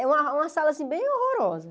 É uma uma sala, assim, bem horrorosa.